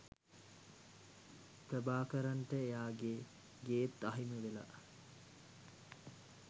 ප්‍රභාකරන්ට එයාගේ ගේත් අහිමිවෙලා.